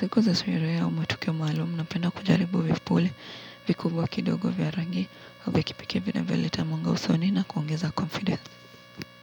Siku ze sherehe au matukio maalum napenda kujaribu vipule vikubwa kidogo vya rangi au vya kipekee vinavyoleta mwanga usoni na kuongeza confidence.